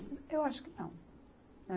Eu acho que não.